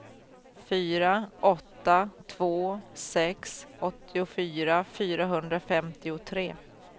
fyra åtta två sex åttiofyra fyrahundrafemtiotre